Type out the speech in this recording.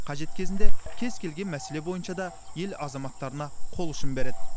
қажет кезінде кез келген мәселе бойынша да ел азаматтарына қол ұшын береді